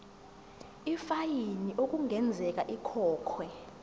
ifayini okungenzeka ikhokhwe